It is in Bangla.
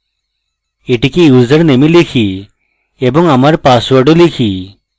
এটিকে username এ type এবং আমার পাসওয়ার্ড ও type